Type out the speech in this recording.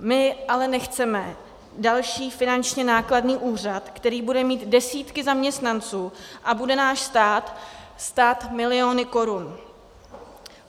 My ale nechceme další finančně nákladný úřad, který bude mít desítky zaměstnanců a bude náš stát stát miliony korun.